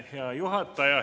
Hea juhataja!